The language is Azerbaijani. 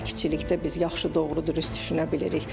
Sakitçilikdə biz yaxşı doğru-dürüst düşünə bilirik.